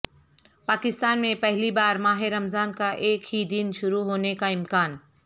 پاکستان میں پہلی بار ماہ رمضان کا ایک ہی دن شروع ہونے کا امکان